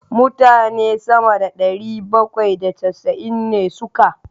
Mutane sama da ɗari bakwai da casa'in ne suka.